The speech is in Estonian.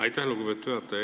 Aitäh, lugupeetud juhataja!